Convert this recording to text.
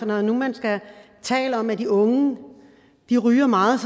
når nu man skal tale om at de unge ryger meget